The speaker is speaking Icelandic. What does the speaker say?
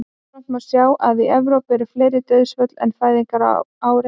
jafnframt má sjá að í evrópu eru fleiri dauðsföll en fæðingar á ári